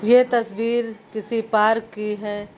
ये तस्वीर किसी पार्क की है।